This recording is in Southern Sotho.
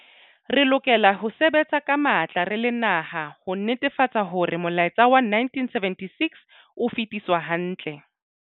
Re lokela ho sebetsa ka matla re le naha ho netefatsa hore molaetsa wa 1976 o fetiswa hantle.